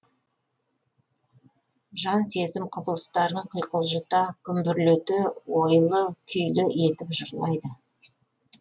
жан сезім құбылыстарын құйқылжыта күмбірлете ойлы күйлі етіп жырлайды